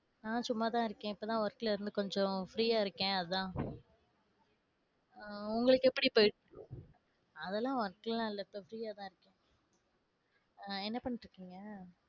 நான் சும்மாதான் இருக்கேன் இப்பதான் work ல இருந்து கொஞ்சம் free ஆ இருக்கேன் அதான். அஹ் உங்களுக்கு எப்படி போயிட்~ அதெல்லாம் work லாம் இல்லை. இப்ப free யா தான் இருக்கேன். அஹ் என்ன பண்ணிட்டிருக்கீங்க?